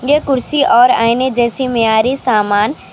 یہ کرسی اور ائینے جیسی معیاری سامان.